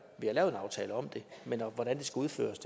har lavet en aftale om det men hvordan det skal udføres